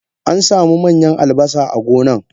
Ansamu manyan albasa a gonan.